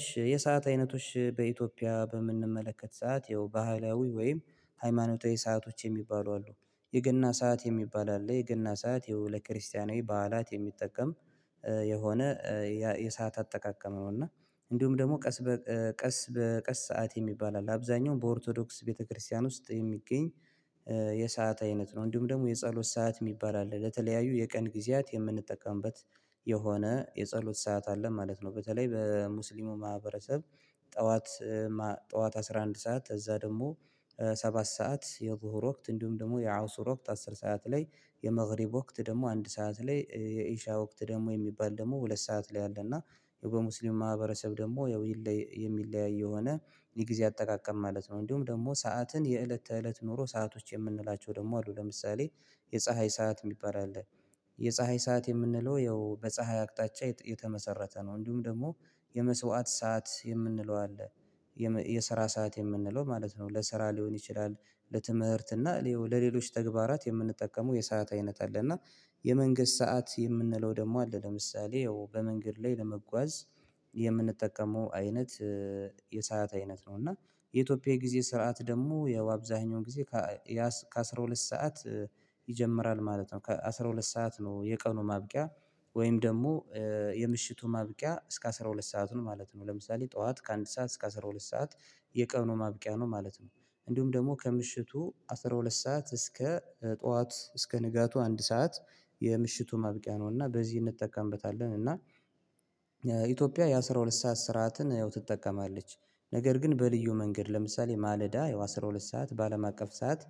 እሺ የሰዓት አይነቶች በኢትዮጵያ በምንመለከት ሰዓት ይኸው ባህላዊ ወይም ሃይማኖታዊ ሰአቶች የሚባሉ አሉ። የገና ሰዓት የሚባል አለ የገና ሰዓት ያው ለክርስቲያናዊ በዓላት የሚጠቀም የሆነ የሰዓት አጠቃቀመ ነው። እና እንዲሁም ደግሞ ቀስ በቀስ በቀስ ሰዓት የሚባል አለ አብዛኛውም በኦርቶዶክስ ቤተክርስቲያን ውስጥ የሚገኝ የሰዓት አይነት ነው። እንዲሁም ደግሞ የጸሎት ሰዓት የሚባል አለ ለተለያዩ የቀን ጊዜያት የምንጠቀምበት የሆነ የጸሎት ሰዓት አለ ማለት ነው። በተለይ በሙስሊሙ ማህበረሰብ ጠዋት ጠዋት አስራ አንድ ሰዓት ከዛ ደግሞ ሰባት ሰዓት የብሁር ወቅት እንዲሁም ደግሞ የአውሱር ወቅት አስር ሰዓት ላይ የመግሪብ ወቅት ደግሞ አንድ ሰዓት ላይ የኢሻ ወቅት ደግሞ የሚባል ደግሞ ሁለት ሰዓት ላይ አለና ያው በሙስሊም ማህበረሰብ ደግሞ ያው የሚለያይ የሆነ የጊዜ አጠቃቀም ማለት ነው። እንዲሁም ደግሞ ሰዓትን የእለት ተእለት ኖሮ ሰአቶች የምንላቸው ደግሞ አሉ ለምሳሌ የፀሀይ ሰዓት የሚባል አለ። የፀሀይ ሰዓት የምንለው ያው በፀሀይ አቅጣጫ የተመሰረተ ነው። እንዲሁም ደግሞ የመስዋዕት ሰዓት የምንለው አለ። የስራ ሰዓት የምንለው ማለት ነው ለስራ ሊሆን ይችላል ለትምህርት እና ለሌሎች ተግባራት የምንጠቀመው የሰዓት አይነት አለ። እና የመንግስት ሰዓት የምንለው ደግሞ አለ ለምሳሌ ያው በመንገድ ላይ ለመጓዝ የምንጠቀመው አይነት የሰዓት አይነት ነው። እና የኢትዮጵያ የጊዜ ስርዓት ደግሞ ያው አብዛኛው ጊዜ ከ ከአሥራ ሁለት ሰዓት ይጀምራል ማለት ነው። ከአሥራ ሁለት ሰዓት ነው የቀኑ ማብቂያ ወይም ደግሞ የምሽቱ ማብቂያ እስከ አስራ ሁለት ሰዓት ነው ማለት ነው። ለምሳሌ ጠዋት ከአንድ ሰዓት እስከ አስራ ሁለት ሰዓት የቀኑ ማብቂያ ነው ማለት ነው። እንዲሁም ደግሞ ከምሽቱ አስራ ሁለት ሰዓት እስከ ጠዋት እስከ ንጋቱ አንድ ሰዓት የምሽቱ ማብቂያ ነው እና በዚህ እንጠቀምበታለን እና ኢትዮጵያ የአሥራ ሁለት ሰዓት ስርዓትን ያው ትጠቀማለች። ነገር ግን በልዩ መንገድ ለምሳሌ ማለዳ ያው አስራ ሁለት ሰዓት በአለም አቀፍ ሰዓት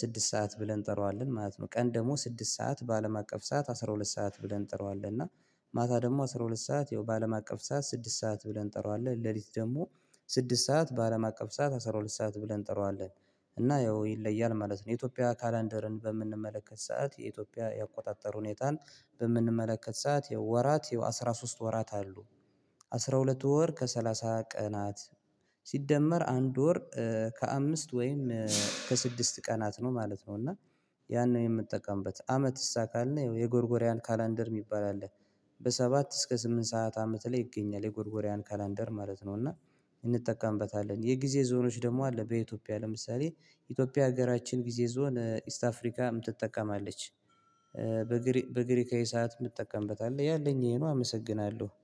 ስድስት ሰዓት ብለን እንጠራዋለን ማለት ነው። ቀን ደግሞ ስድስት ሰዓት በአለም አቀፍ ሰዓት አስራ ሁለት ሰዓት ብለን እንጥረዋለን እና ማታ ደግሞ አስራ ሁለት ሰዓት ያው በአለም አቀፍ ሰዓት ስድስት ሰዓት ብለን እንጠራዋለን። ሌሊት ደግሞ ስድስት ሰዓት በአለም አቀፍ ሰዓት አስራ ሁለት ሰዓት ብለን እንጠራዋለን እና ያው ይለያል ማለት ነው። የኢትዮጵያ ካላንደርን በምንመለከት ሰዓት የኢትዮጵያ ያቆጣጠረ ሁኔታን በምንመለከት ሰዓት ያወ ወራት የአሥራ ሶስት ወራት አሉ። አስራ ሁለት ወር ከሰላሳ ቀናት ሲደመር አንድ ወር ከአምስት ወይም ከስድስት ቀናት ነው ማለት ነው። እና ያን ነው የምትጠቀምበት አመትስ ካልን ያው የጎርጎሪያን ካላንደር የሚባል አለ። በሰባት እስከ ስምንት ሰዓት አመት ላይ ይገኛል የጎርጎሪያን ካላንደር ማለት ነው። እና እንጠቀምበታለን የጊዜ ዞኖች ደግሞ አለ በኢትዮጵያ ለምሳሌ ኢትዮጵያ ሀገራችን ጊዜ ዞን ኢስት አፍሪካ ትጠቀማለች። በግሪካዊ ሰዓት የምጠቀምበት አለ ያለኝ ይሄ ነዊ አመሰግናለሁ